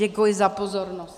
Děkuji za pozornost.